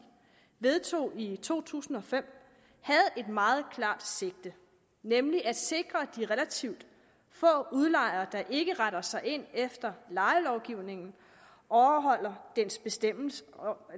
vedtog i to tusind og fem havde et meget klart sigte nemlig at sikre at de relativt få udlejere der ikke retter sig ind efter lejelovgivningen overholder dens bestemmelser